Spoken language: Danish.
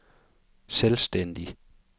selvstændig